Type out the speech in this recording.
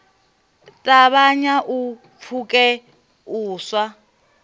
ṱavhanya u pfuke u sa